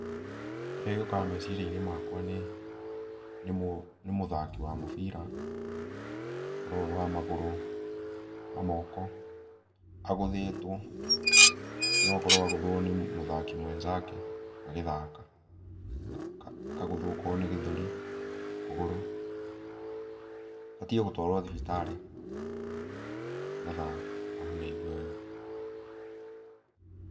Kĩrĩa gĩũkaga meciria-inĩ makwa nĩ, nĩ mũ, nĩ mũthaki wa mũbĩra. Ũkorwo wĩ wa magũrũ, wa moko, agũthĩtwo, no akorwo agũthũo nĩ mũthaki mwenzake agĩthaka. Akagũthwo akorwo nĩ gĩthũri, kũgũrũ. Abatiĩ gũtwarwo thibitarĩ, nĩgetha, ahone aigue wega. Pause